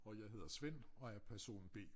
Og jeg hedder Svend og er person B